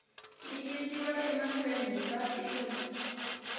yi yisiwa mahlweni hi papila